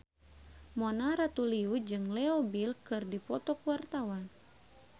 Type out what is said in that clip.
Mona Ratuliu jeung Leo Bill keur dipoto ku wartawan